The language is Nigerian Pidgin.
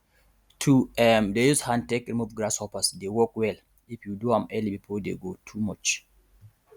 to um dey use hand take remove grasshoppers dey work well if you do am early before dey go too much